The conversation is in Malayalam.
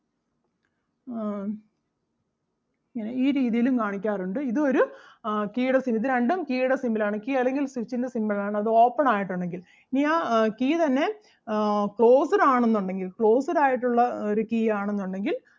ഇങ്ങനെ ഈ രീതിയിലും കാണിക്കാറുണ്ട് ഇതും ഒരു ആഹ് key ടെ symbol ഇത് രണ്ടും key ടെ symbol ആണ് key അല്ലെങ്കിൽ switch ൻ്റെ symbol ആണ് അത് open ആയിട്ട് ഒണ്ടെങ്കിൽ ഇനി ആ key തന്നെ ആഹ് closed ആണെന്നുണ്ടെങ്കിൽ closed ആയിട്ടുള്ള ഒരു key ആണെന്നുണ്ടെങ്കിൽ